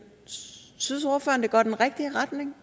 går i den rigtige retning